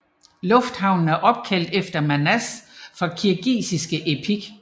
Lufthavnen er opkaldt efter Manas fra kirgisisk epik